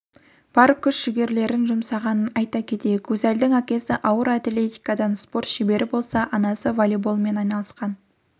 бар күш-жігерлерін жұмсаған айта кетейік гузальдың әкесі ауыр атлетикадан спорт шебері болса анасы волейболмен айналысқан